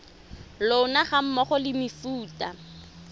lona ga mmogo le mefuta